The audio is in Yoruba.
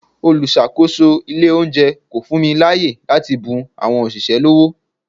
Olùsàkósò ilé oúnjẹ kò fún mi láàyè láti bun àwọn òṣìṣẹ́ lọ́wó.